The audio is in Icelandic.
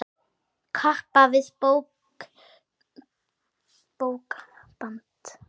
Kappa við bókband kenna.